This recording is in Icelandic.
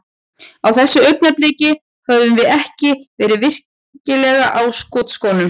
Á þessu augnabliki, höfum við ekki verið virkilega á skotskónum.